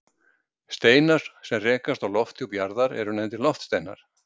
steinar sem rekast á lofthjúp jarðar eru nefndir loftsteinar